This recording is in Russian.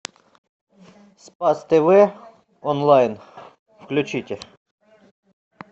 спас тв онлайн включите